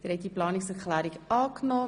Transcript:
Sie haben Planungserklärung 1 angenommen.